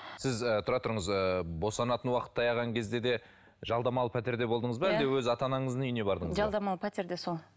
сіз ы тұра тұрыңыз ы босанатын уақыт таяған кезде де жалдамалы пәтерде болдыңыз ба әлде өз ата анаңыздың үйіне бардыңыз ба жалдамалы пәтерде сол